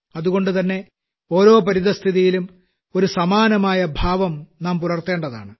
അതുകൊണ്ടുതന്നെ ഓരോപരിതസ്ഥിതിയിലും ഒരു സമാനമായ ഭാവം നാം പുലർത്തേണ്ടതാണ്